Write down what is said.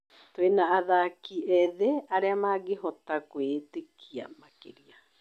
Twĩna athaki ethĩ arĩa mangĩhota kwĩĩtĩkia makĩria.